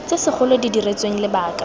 tse segolo di diretsweng lebaka